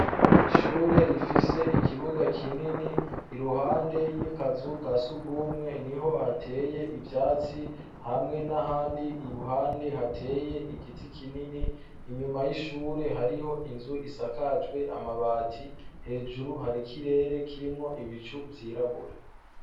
ishure rifise ikibuga kinini iruhande y'ikazu kasugumwe niho hateye ibyatsi hamwe n'ahandi iruhande hateye igiti kinini inyuma y'ishure hariho inzu isakajwe amabati hejuru hari kirere kirimwo ibicu byirabura